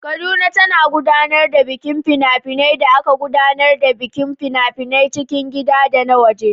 Kaduna ta gudanar da bikin fina-finai da aka gudanar da bikin fina-finan cikin gida da na waje.